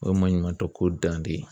O ye maɲumantɔko dan de ye